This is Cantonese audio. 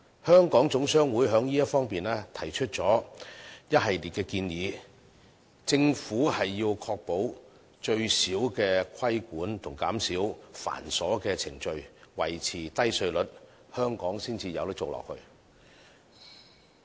香港總商會在這方面提出了一系列建議，認為政府要確保規管減至最少，減少繁瑣的程序，維持低稅率，這樣香港才能繼續發展下去。